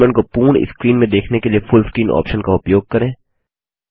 document को पूर्ण screen में देखने के लिए फुल स्क्रीन ऑप्शन का उपयोग करें